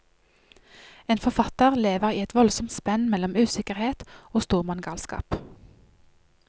En forfatter lever i et voldsomt spenn mellom usikkerhet og stormannsgalskap.